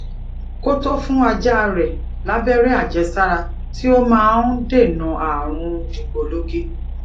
ko to fun aja re labere ajesara tí ó máà n dènà ààrùn dìgbòlugi